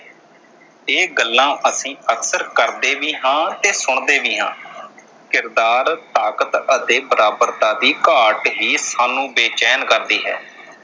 ਇਹ ਗੱਲਾਂ ਅਕਸਰ ਕਰਦੇ ਵੀ ਹਾਂ ਤੇ ਸੁਣਦੇ ਵੀ ਹਾਂ। ਕਿਰਦਾਰ, ਤਾਕਤ ਅਤੇ ਬਰਾਬਰਤਾ ਦੀ ਘਾਟ ਹੀ ਸਾਨੂੰ ਬੇਚੈਨ ਕਰਦੀ ਹੈ